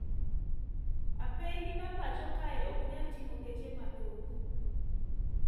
Apeini ma pacho kae oknyal ting`o geche mathoth